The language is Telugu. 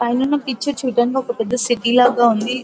పైన ఉన్న పిక్చర్ చూడ్డానికి ఒక పెద్ద సిటీ లాగా ఉంది.